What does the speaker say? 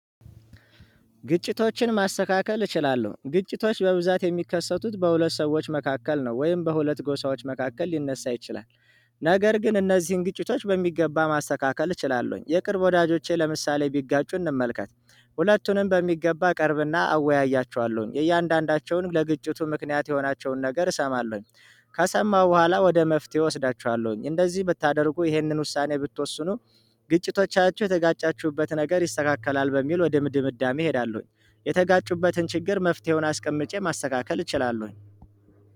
ግጭቶችን ማስተካከል እችላለሁ ግጭቶች በብዛት የሚከሰቱት በሁለት ሰዎች መካከል ነው ወይም በሁለት ጎሳዎች መካከል ሊነሳ ይችላል። ነገር ግን እነዚህን ግጭቶች በሚገባ ማስተካከል እችላለሁኝ የቅርብ ወዳጆቼ ለምሳሌ ቢጋጩ እንመልከት ሁለቱንም በሚገባ እቀርብና አወያያቸዋለሁኝ የእያንዳንዳቸውን ለግጭቱ ምክንያት የሆናቸውን ነገር እሰማለሁኝ። ከሰማሁ በኋላ ወደ መፍትሄ እወስዳቸዋለሁኝ። እንደዚህ ብታደርጉ ይህንን ውሳኔ ብትወስኑ ግጭቶቻችሁ የተጋጫችሁበት ነገር ይስተካከላል በሚል ወደ ድምድምዳሜ እሄዳለሁኝ። የተጋጩበትን ችግር መፍትሄውን አስቀምጬ ማስተካከል እችላለሁኝ።